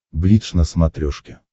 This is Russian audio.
бридж на смотрешке